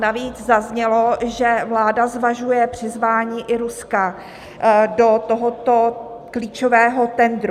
Navíc zaznělo, že vláda zvažuje přizvání i Ruska do tohoto klíčového tendru.